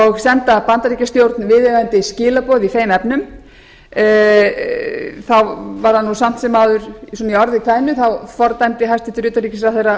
og senda bandaríkjastjórn viðeigandi skilaboð í þeim efnum þá var það nú samt sem áður svona í orði kveðnu þá fordæmdi hæstvirts utanríkisráðherra